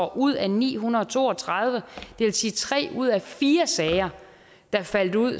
ud af ni hundrede og to og tredive det vil sige tre ud af fire sager der faldt ud